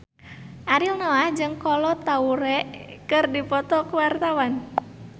Ariel Noah jeung Kolo Taure keur dipoto ku wartawan